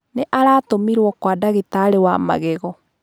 Nĩ aratũmirwo kwa ndagitarĩ wa magego.